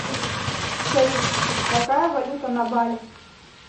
салют какая валюта на бали